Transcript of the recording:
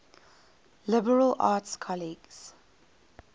liberal arts colleges